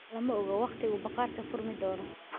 Lama oga wakhtiga uu bakhaarku furmi doono.